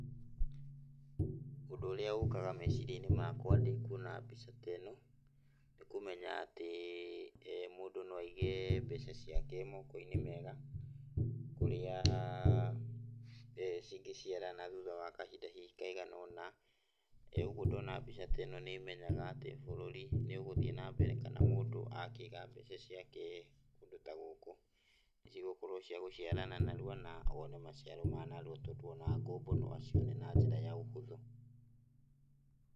Ũndũ ũrĩa ũkaga meciria-ĩnĩ makwa ndĩkuona mbica ta ĩno nĩkũmenya atĩ mũndũ no aĩge mbeca ciake mokoinĩ mega, kũrĩa cingĩciarana thutha wa kahinda kaigana ũna. Ũguo ndona mbica ta ĩno nĩmenyaga bũrũri nĩũgũthiĩ na mbere kana mũndũ akĩiga mbeca ciake kũndũ ta gũkũ, nĩcigũkorwo ci cia gũciarana narua na no one maciaro ma narua tondũ ona ngombo no acione na njĩra ya ũhũthũ.